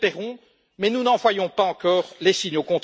Nous l'espérons, mais nous n'en voyons pas encore les signes.